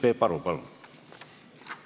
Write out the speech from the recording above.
Peep Aru, palun!